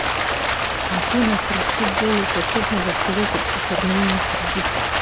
афина прошу более подробно рассказать об оформлении кредита